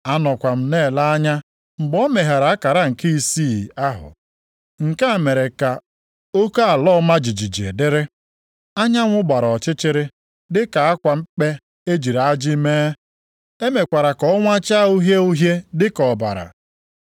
Anọkwa m na-ele anya mgbe o meghere akara nke isii ahụ. Nke a mere ka oke ala ọma jijiji dịrị. Anyanwụ gbara ọchịchịrị dị ka akwa mkpe e jiri ajị mee. E mekwara ka ọnwa chaa uhie uhie dịka ọbara.